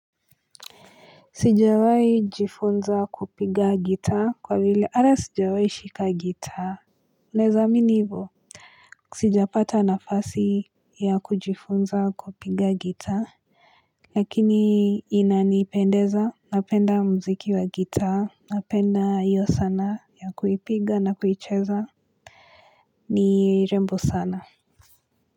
Sijawahi jifunza kupiga gita kwa vile ata sijawahi shika gita unaweza amini hivyo sijapata nafasi ya kujifunza kupiga gita Lakini inanipendeza napenda mziki wa gita napenda hiyo sana ya kuipiga na kuicheza ni rembo sana.